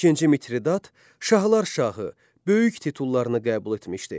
İkinci Mitridat şahlar şahı, böyük titullarını qəbul etmişdi.